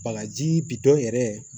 Bagaji bi dɔn yɛrɛ